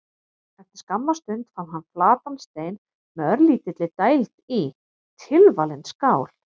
Eftir skamma stund fann hann flatan stein með örlítilli dæld í: tilvalin skál.